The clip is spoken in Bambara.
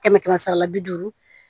Kɛmɛ kɛmɛ sara la bi duuru